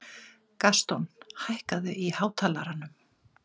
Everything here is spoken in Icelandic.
Gaston, hækkaðu í hátalaranum.